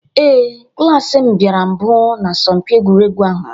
Ee, klas m bịara mbụ na asọmpi egwuregwu ahụ.